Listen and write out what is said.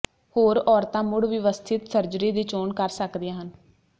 ਹੋਰ ਔਰਤਾਂ ਮੁੜ ਵਿਵਸਥਿਤ ਸਰਜਰੀ ਦੀ ਚੋਣ ਕਰ ਸਕਦੀਆਂ ਹਨ